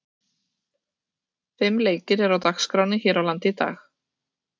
Fimm leikir eru á dagskránni hér á landi í dag.